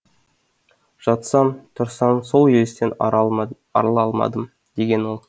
жатсам тұрсам сол елестен арыла алмадым деген ол